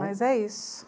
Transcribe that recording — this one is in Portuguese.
Mas é isso.